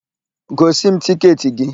Gosi m tịketị gị!